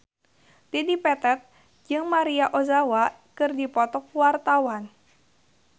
Dedi Petet jeung Maria Ozawa keur dipoto ku wartawan